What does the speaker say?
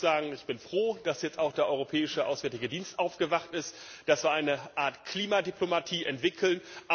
Ich muss sagen, ich bin froh, dass jetzt auch der Europäische Auswärtige Dienst aufgewacht ist, dass wir auf dem Weg zu Paris eine Art Klimadiplomatie entwickeln.